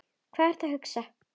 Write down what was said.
Hvað ertu að hugsa?